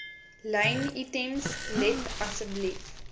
lynitems let asseblief